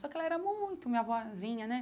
Só que ela era muito minha avózinha, né?